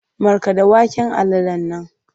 Markaɗa waken alalan nan!